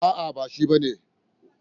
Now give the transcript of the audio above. A'a, ba shi ba ne.